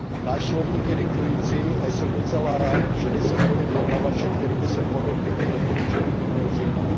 Náš slovník je diktující a jsem docela rád, že nejsem v roli vyjednavače, který by se podobnými doporučeními měl řídit.